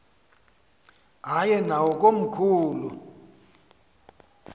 aye nawo komkhulu